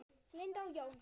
Linda og Jón.